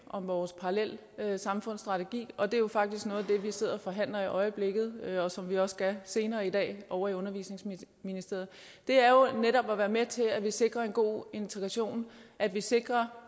om vores parallelsamfundsstrategi og det er jo faktisk noget af det vi sidder og forhandler i øjeblikket og som vi også skal senere i dag ovre i undervisningsministeriet det er jo netop at være med til at vi sikrer en god integration at vi sikrer